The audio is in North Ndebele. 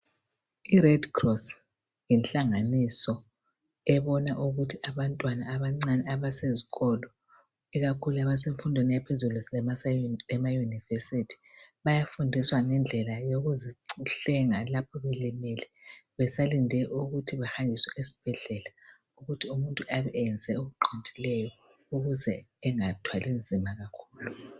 IRedcross yinhlanganiso ebona ukuthi abantwana abancane abasezikolo, ikakhulu abesemfundweni yaphezulu ema- university bayafundiswa ngendlela yokuzihlenga, lapho belimele. Besalinde ukuthi bahanjiswe ezibhedlela. Ukwenzela ukuthi muntu abe eyenze okuqondileyo, ukwenzela ukuthi angathwali nzima kakhulu.